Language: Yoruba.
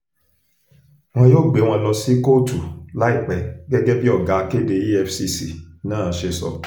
wọn yóò gbé wọn lọ sí kóòtù láìpẹ́ gẹ́gẹ́ bí ọ̀gá akéde efcc náà ṣe sọ